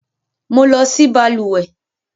Mo. lọ sí balùwẹ́